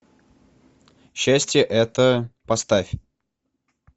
счастье это поставь